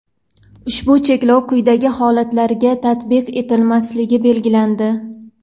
Ushbu cheklov quyidagi holatlarga tatbiq etilmasligi belgilandi:.